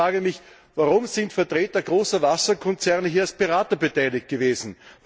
Ich frage mich Warum sind Vertreter großer Wasserkonzerne hier als Berater beteiligt gewesen?